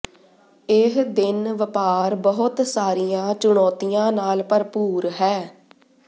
ਇਹ ਦਿਨ ਵਪਾਰ ਬਹੁਤ ਸਾਰੀਆਂ ਚੁਣੌਤੀਆਂ ਨਾਲ ਭਰਪੂਰ ਹੈ